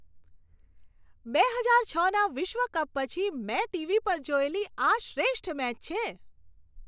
બે હજાર છના વિશ્વ કપ પછી મેં ટીવી પર જોયેલી આ શ્રેષ્ઠ મેચ છે.